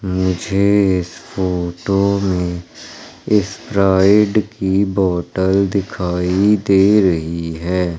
मुझे इस फोटो में इस्प्राइड की बॉटल दिखाई दे रही है।